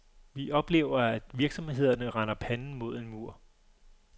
Vi oplever, at virksomhederne render panden mod en mur.